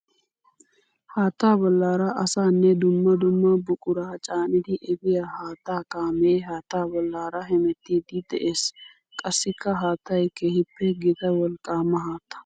Haatta bollara asanne dumma dumma buqura caaniddi efiya haatta kaame haatta bollara hemettidde de'ees. Qassikka haattay keehippe gita wolqqama haatta.